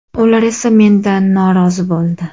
Ular esa mendan norozi bo‘ldi.